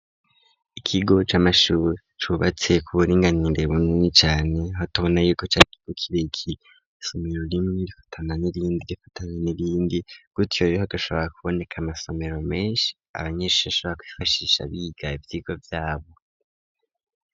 ikigo c'amashure cubatse kuburinganire bunini cane ho tobona yuko car'ikigo kirekire isomero rimwe rifatana n irindi gifatane n'irindi gutyo hagashobora kuboneka amasomero menshi abanyeshi bashobora kwifashisha biga ivyigo vyabo